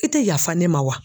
I tɛ yafa ne ma wa?